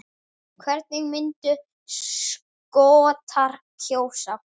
Hvernig myndu Skotar kjósa?